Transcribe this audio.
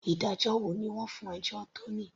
Ìdájọ́ wo ni wọ́n fún ẹjọ́ tòní.